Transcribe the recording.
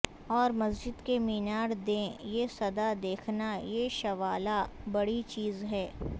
اور مسجد کے مینار دیں یہ صدا دیکھنا یہ شوالا بڑی چیز ہے